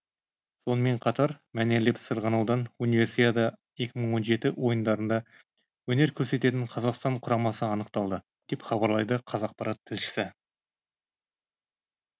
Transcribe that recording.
сонымен қатар мәнерлеп сырғанаудан универсиада екі мың он жеті ойындарында өнер көрсететін қазақстан құрамасы анықталды деп хабарлайды қазақпарат тілшісі